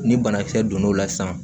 Ni banakisɛ donna o la sisan